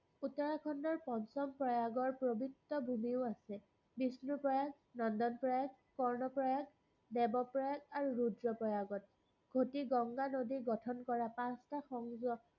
উত্তৰাখণ্ডৰ পঞ্চম প্ৰয়াগৰ পবিত্ৰ ভুমিও আছে। বিষ্ণু প্ৰয়াগ, নন্দন প্ৰয়াগ, স্বৰ্ণ প্ৰয়াগ, দেৱ প্ৰয়াগ আৰু ৰূদ্ৰ প্ৰয়াগত। সুতি গংগা নদী গঠন কৰা পাচটা সংযোগ